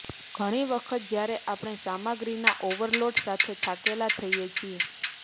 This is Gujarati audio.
ઘણી વખત જ્યારે આપણે સામગ્રીના ઓવરલોડ સાથે થાકેલા થઈએ છીએ